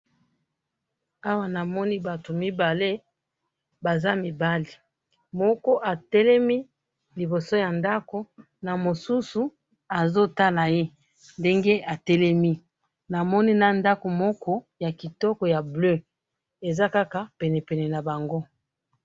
awa na moni batu mibale baza mibali moko atelemi liboso ya ndaku na mosusu azo tala ye ndenge a telemi na moni na ndaku moko ya kitoko ya bleu eza kaka penepene nabango